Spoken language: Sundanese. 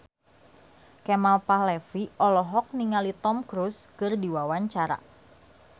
Kemal Palevi olohok ningali Tom Cruise keur diwawancara